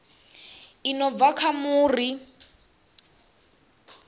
i no bva kha muri